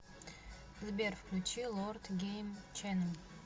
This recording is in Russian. сбер включи лорд гейм ченел